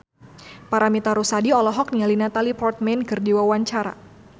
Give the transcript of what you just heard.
Paramitha Rusady olohok ningali Natalie Portman keur diwawancara